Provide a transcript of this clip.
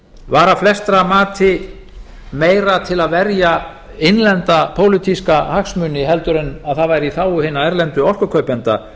var að flestra mati meira til að verja innlenda pólitíska hagsmuni en að það væri í þágu hinna erlendu orkukaupenda